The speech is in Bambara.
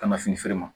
Ka na fini feere ma